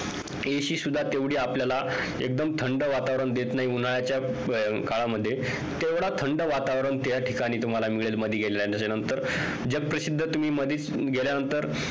AC सुद्धा तेवढी आपल्याला एकदम थंड वातावरण देत नाही उन्हाळयाच्या काळामध्ये तेवढं थंड वातावरण त्या ठिकाणी तुम्हाला मिळेल मधी गेल्याच्या नंतर जगप्रसिद्ध तुम्ही मधीच गेल्यानंतर